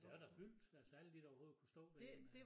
Det er da fyldt altså alle de der overhovedet kunne stå derinde øh